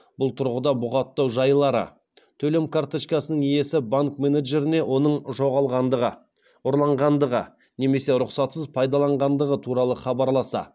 бұл тұрғыда бұғаттау жайлары төлем карточкасының иесі банк менеджеріне оның жоғалғандығы ұрланғандығы немесе рұқсатсыз пайдаланғандығы туралы хабарласа